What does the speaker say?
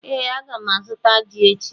Ee, a ga m azụta ji echi